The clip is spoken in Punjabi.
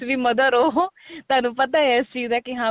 ਤੁਸੀਂ ਵੀ mother ਉਹ ਤੁਹਾਨੂੰ ਪਤਾ ਇਸ ਚੀਜ਼ ਦਾ ਕੀ ਹਾਂ